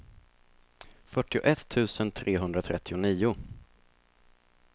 fyrtioett tusen trehundratrettionio